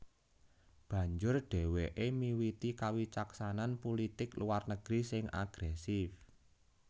Banjur dhèwèké miwiti kawicaksanan pulitik luar negeri sing agrèsif